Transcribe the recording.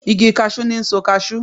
Igi kashi ni' n so kashu